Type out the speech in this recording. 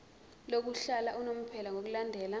lokuhlala unomphela ngokulandela